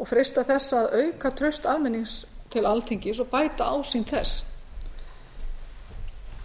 og freista þess að auka traust almennings til alþingis og bæta ásýnd þess